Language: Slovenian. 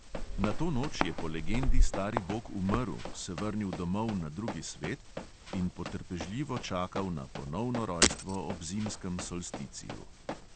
Na to noč je po legendi stari bog umrl, se vrnil domov na drugi svet in potrpežljivo čakal na ponovno rojstvo ob zimskem solsticiju.